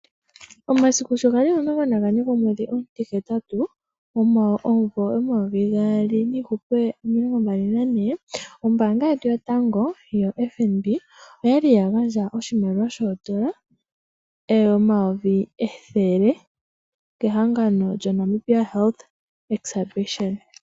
Omasiku shogali omilongo nagane gomwedhi omu ti hetatu omumvo omayovi gaali nomilongombali nane ombaanga yotango yo FNB oyali yagandje oshimaliwa shoondola omayovi ethele kehangano ndono lyo Namibia Health Exhibition.